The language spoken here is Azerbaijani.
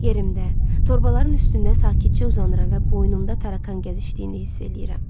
Yerimdə, torbaların üstündə sakitcə uzanıram və boynumda tarakan gəzişdiyini hiss eləyirəm.